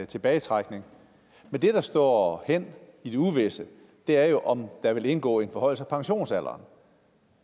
tilbagetrækning men det der står hen i det uvisse er jo om der vil indgå en forhøjelse af pensionsalderen